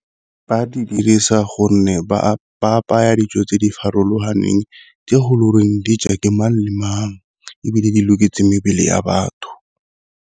Ba di dirisa gonne ba apaya dijo tse di farologaneng tse le di ja ke mang le mang, ebile di loketseng mebele ya batho.